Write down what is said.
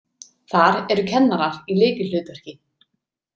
Þar eru kennarar í lykilhlutverki.